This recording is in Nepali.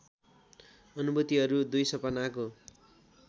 अनुभूतिहरू २ सपनाको